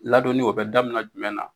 Ladonni o bɛ daminɛ jumɛn na